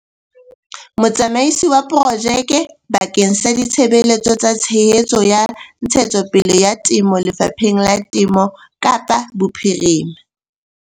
Motsamaisi wa Porojeke bakeng sa Ditshebeletso tsa Tshehetso ya Ntshetsopele ya Temo Lefapheng la Temo Kapa Bophirima